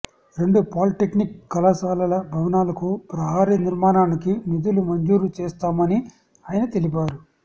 రెండు పాలిటెక్నిక్ కళాశాలల భవనాలకు ప్రహరీ నిర్మాణానికి నిధులు మంజూరు చేస్తామని ఆయన తెలిపారు